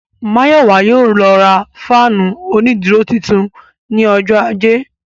Mayowa yóò lọ ra fáànù onídúró tuntun ní ọjọ́ ajé